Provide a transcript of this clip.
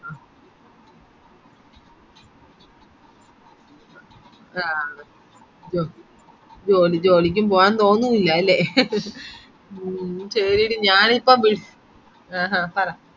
ആഹ് ജോലി ജോലിക്കും പോവാൻ തോന്നുന്നില്ല അല്ലെ മ്മ് ശെരിയെടി ഞാനിപ്പോ വിളി ആഹ് ആഹ് പറ